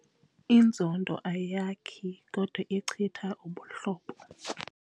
Inzondo ayakhi kodwa ichitha ubuhlobo.